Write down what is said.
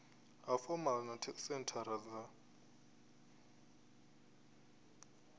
ha fomala na senthara dza